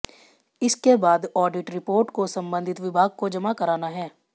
इसके बाद audit report को संबंधित विभाग को जमा कराना है